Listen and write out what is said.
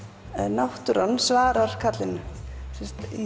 náttúran svarar ákallinu í